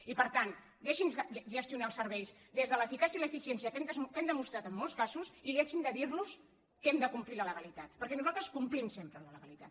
i per tant deixinnos gestionar els serveis des de l’eficàcia i l’eficiència que hem demostrat en molts casos i deixin de dirnos que hem de complir la legalitat perquè nosaltres complim sempre la legalitat